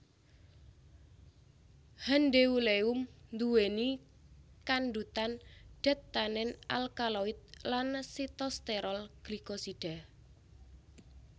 Handeuleum nduwèni kandhutan dat tanin alkaloid lan sitosterol glikosida